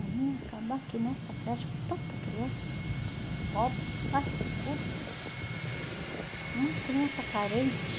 Eu vim acabar aqui nessa creche com tanta criança, tudo pobre, barrigudo, umas crianças carentes.